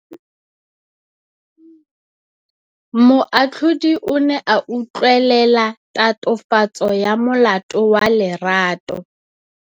Moatlhodi o ne a utlwelela tatofatsô ya molato wa Lerato.